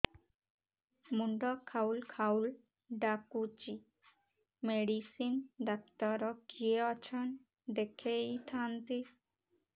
ମୁଣ୍ଡ ଖାଉଲ୍ ଖାଉଲ୍ ଡାକୁଚି ମେଡିସିନ ଡାକ୍ତର କିଏ ଅଛନ୍ ଦେଖେଇ ଥାନ୍ତି